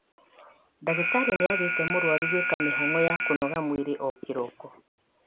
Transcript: Ndagĩtari nĩathĩte mũrwaru gwĩka mĩhang'o ya kũnogora mwĩrĩ o ro kĩroko